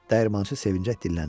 Dəyirmançı sevinclə dilləndi.